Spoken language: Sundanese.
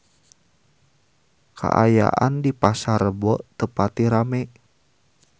Kaayaan di Pasar Rebo teu pati rame